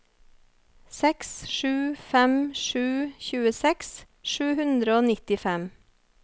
seks sju fem sju tjueseks sju hundre og nittifem